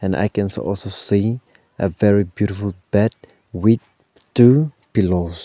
i cans also see a very beautiful bed with two pillows.